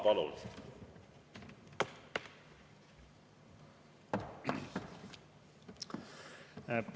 Palun!